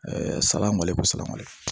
salali ko sala bali